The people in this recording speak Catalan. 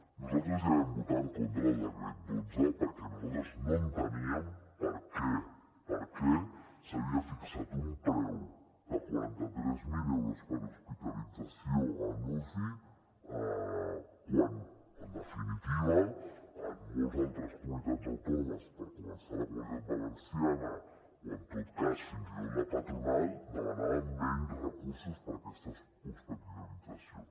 nosaltres ja vam votar en contra del decret dotze perquè nosaltres no enteníem per què s’havia fixat un preu de quaranta tres mil euros per a hospitalització en uci quan en definitiva en moltes altres comunitats autònomes per començar a la comunitat valenciana o en tot cas fins i tot la patronal demanava menys recursos per a aquestes hospitalitzacions